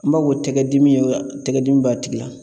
N b'a fɔ tɛgɛ dimi ye tɛgɛdimi b'a tigi la